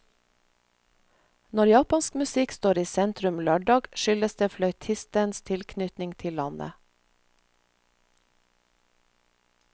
Når japansk musikk står i sentrum lørdag, skyldes det fløytistens tilknytning til landet.